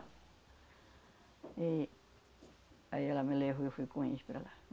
Aí, aí ela me levou e eu fui com eles para lá.